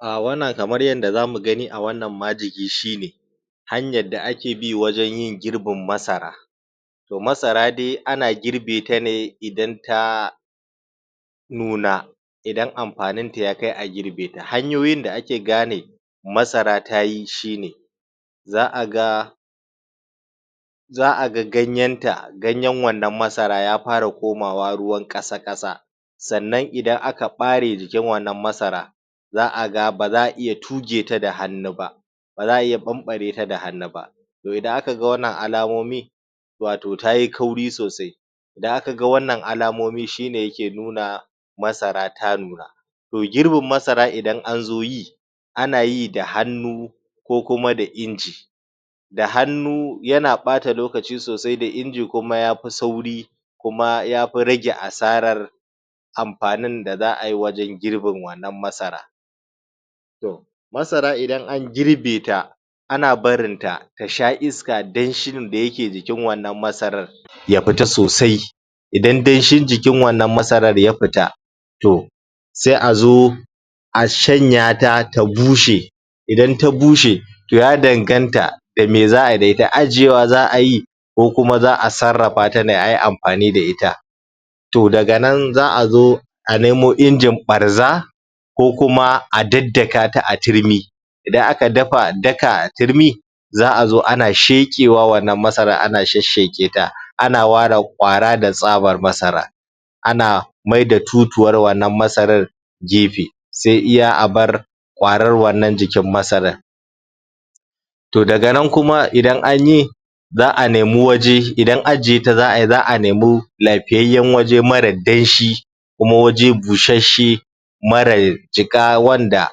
wannan kamar yanda zamu gani a wannan majigi shine hanyar da ake bi wajan yin girbin masara masara dai ana girbeta ne idan ta nuna idan amfaninta ya kai a girbeta hanyoyin da ake gane masara tayi shine za aga za aga ganyanta ganyan wannan masara ya fara komawa ruwan ƙasa ƙasa sannan idan aka ɓare jikin wannan masara za aga baza a iya tugeta da hannu ba baza a iya ɓanɓareta da hannu ba idan akaga wannan a lamomi wato tayi kauri sosai da akaga wannan alamomi shine yake nuna masara ta nuna to girbin masara idan anzo yi anayi da hannu ko kuma da inji da hannu yana ɓata lokaci sosai da inji kuma yafi sauri kuma yafi rage asarar amfanin da za'ai wajan girbin wannan masara masara idan angirbeta ana barinta tasha iska danshin da yake jikin wannan masara ya fita sosai idan danshin jikin wannan masarar ya fita to sai azo a shanyata ta bushe idan ta bushe ya danganta dame xa'ayi da ita ajjewa xa'ayi ko kuma xa'a sarrafata ne ayi amfani da ita to daga nan za'azo a nemo injin ɓarza ko kuma a daddakata a turmi idan aka daka a turmi za'azo ana sheƙewa wannan masarar ana shassheƙeta ana ware ƙara da tsabar masara ana maida tutuwar wannan masarar gefe sai iya abar ƙarar wannan jikin masarar to daga nan kuma idan anyi za'a nemi waje idan ajjeta za'ayi za'a nemi lafiyayyan waje marar danshi kuma waje bushesshe mara jiƙa wanda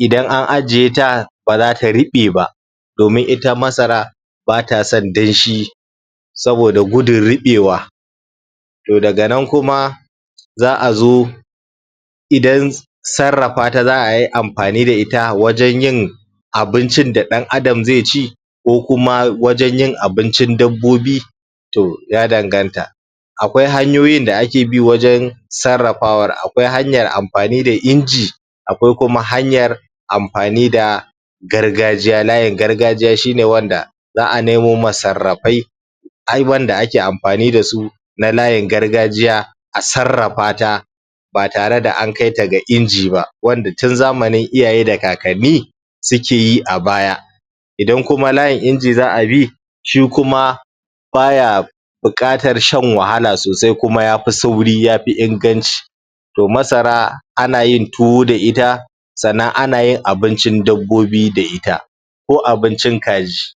idan an ajjeta baza ta reɓe ba domin ita masara batasan danshi saboda gudun ruɓewa to daga nan kuma za'azo idan sarrafata za'ai amfani da ita wajan yin abincin da dan adam zaici ko kuma wajan yin abincin dabbobin to ya danganta akwai hanyoyin da ake bi wajan sarrafawar akwai hanyar amfani da inji akwai kuma hanyar amfani da gargajiya layin gargajiya shine wanda za'a nemo masarrafai abubuwan da ake amfani dasu na layin gargajiya a sarrafata ba tare da ankaita ga inji ba wanda tun zamanin iyayi da kakanni sukeyi a baya idan kuma layin inji za'abi shikuma baya buƙatar shan wahala sosai kuma yafi sauri yafi inganci to masara anayin tuwo da ita sannan anayin abincin dabbobi da ita ko abincin kaji